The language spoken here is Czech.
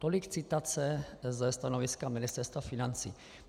Tolik citace ze stanoviska Ministerstva financí.